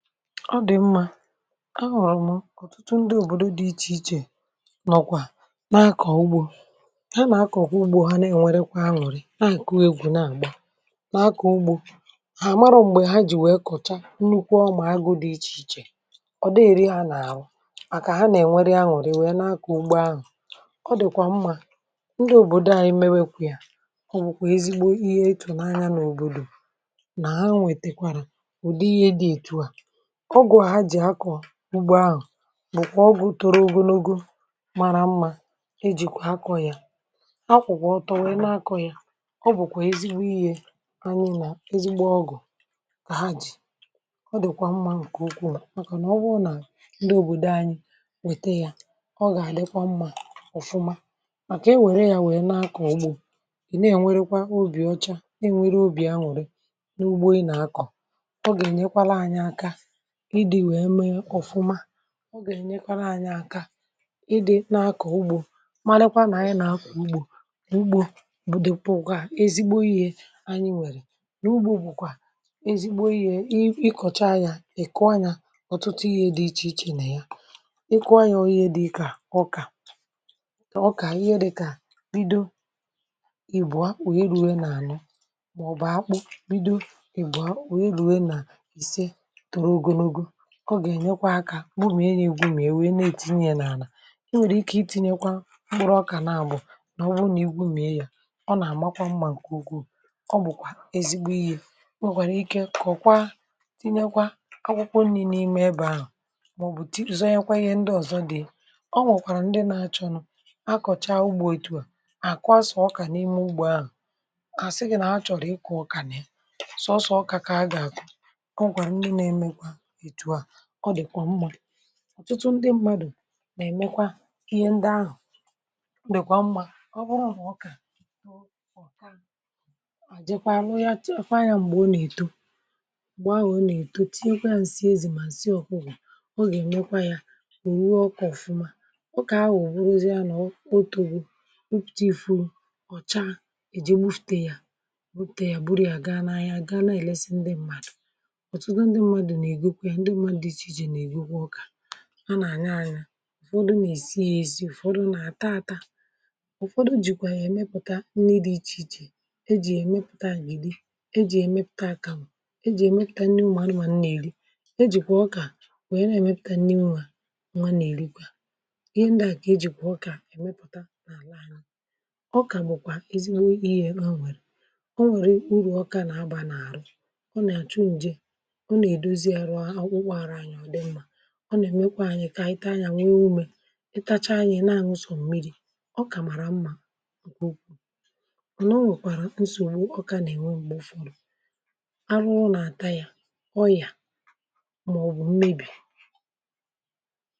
ọ dị̀ mmȧ, um ahụ̀rụ̀ mụ ọ̀tụtụ ndị òbòdo dị̇ iche iche nọ̀kwà na-akọ̀ ugbȯ ha, nà-akọ̀kọ̀ ugbȯ ha, nà-enwerekwa anwụ̀rị, na-àkụgwà egwù, na-àgba, na-akọ̀ ugbȯ hà. àmarọ̀ m̀gbè ha jì wee kọ̀cha nnukwu ọmà agụ̇ dị̇ iche iche, ọ dịghị̇ iri ha nà-àrụ, màkà ha nà-ènwere anwụ̀rị wee na-akọ̀ ugbȯ anwụ̀. ọ dị̀kwà mmà, um ndị òbòdò à anyị mewekwa yȧ, ọ bụ̀kwà ezigbo ihe e tụ̀nanya n’òbòdò nà ha nwètèkwàrà ụ̀dị ihe dị ètu à. ogwọ̀ a ha jì akọ̀ ugbo ahụ̀ bụ̀kwà ogwọ̇ tọrọ ogonogo mara mmȧ iji̇kwà akọ ya, akwụ̀kwà ọtọ, nwère na-akọ̇ ya. um ọ bụ̀kwà ezigbo ihė anyị nà ezigbo ọgụ̀ kà ha jì, ọ dị̀kwà mmȧ ǹkè ugbo, màkà nà ogwọgwụ̀ọ nà ndị òbòdò anyị wète ya, ọ gà-àdịkwa mmȧ ọ̀fụma, màkà e wère yȧ wèe na-akọ̀ ogwọ̇. è nà e nwerekwa obì ọcha, na e nwere obì aṅụ̀rị nà ugbo ị nà-akọ̀, ọ gà-ènyekwala anya aka, ọ gà-èrenyekwara anyị aka, ịdị̇ nȧ akọ̀ ugbȯ. malekwa nà anyị nà akọ̀ ugbȯ, ugbȯ bụdị̀pụ̀kwà ezigbo ihe anyị nwèrè; n’ugbȯ bụ̀kwà ezigbo ihe ịkọ̀cha anyị. um ị̀kụ̀wa anyị ọ̀tụtụ ihe dị iche iche nè ya, ịkụ̇wa anyị onye dị kà ọkà, ọkà ihe dịkà bido ị̀bụ̀ akpụ̀, onye ruo n’ànụ màọbụ̀ akpụ̀ bido, o gà-ènyekwa akȧ gbu m e, nà-ègwu m e, wèe na-ètinye n’ànà. ọ nwèrè ike ị tinye kwa mkpụrụ ọkà naabọ̀, nà ọ bụ nà egwu mɪe yȧ, ọ nà-àmakwa mmȧ ǹkè ugwuù. ọ bụ̀kwà ezigbo ihe, o nwèkwàrà ike kọ̀kwa, tinyekwa akwụkwọ nri̇ n’ime ebe ahụ̀, màọbụ̀ tupu zọọ, nyekwa ihe ndị ọ̀zọ dị̀. o nwèkwàrà ndị nȧ-achọ nụ̇ akọ̀cha ugbȯ ètu à àkụ a sọ ọkà n’ime ugbȯ ahụ̀, kàsị gị nà ha chọ̀rọ̀ ịkụ̀ ọkà, nà ya sọsọ ọkà kà a gà-àkụ. o nwèkwàrà ndị nȧ-ẹmẹkwa, ọ dịkwà mmadụ̀, ọtụtụ ndị mmadụ̀ na-emekwa ihe ndị ahụ̀. ọ dị̀kwà mmadụ̀, ọ bụrụ̀ ọ kà àjịkwà, àrụ ya chefu anya, m̀gbè ọ na-eto, m̀gbè ahụ̀ ọ na-eto, tinye kwa ǹsị ezì ma ǹsị ọkụgị̀, ọ gà-èmekwa ya rùo ọkụ̀ ọfụma. ọ kà ha wèe buruzie nà otu bụ̀ ụpụ̀ta ifuò, ọ̀ chaa eji mufùtè ya, butè ya, buru ya gaa n’anya, gaa na-èlesi ndị mmadụ̀, um ndị ṁmȧdụ̀ iche iji nà-èrikwa ọkà. nwa nà-ànya anya, ụ̀fọdụ nà-èsi ya èsi, ụ̀fọdụ nà-àta ata, ụ̀fọdụ jìkwà yà-èmepụ̀ta nni dị̇ iche iche — ejì èmepụ̀ta ngbìrì, ejì èmepụ̀ta akȧ, mà ejì èmepụ̀ta nni ụmụ̀ anụmànụ nà-èri. ejìkwà ọkà wèe na-èmepụ̀ta nni nwa, nwa nà-èrikwà ihe ndịà, kà e jìkwà ọkà èmepụ̀ta n’àlà. ọkà bụ̀kwà ezigbo ihė, o nwèrè urù, ọkà nà-agbà n’àrụ, ọ nà-àchụ ǹje, ọ nà-èmekwa kà anyị i taa yȧ, wee umė, ị tacha anyị na àṅụsọ̀ mmiri̇. ọ kàmàrà mmȧ, ǹkwù ọ̀ na, o nwèkwàrà nsògbu ọkȧ nà-ènwe, m̀gbè ụfọdụ arụ ụlọ̀ àta yȧ, ọyà mà ọ̀ bụ̀ mmebì.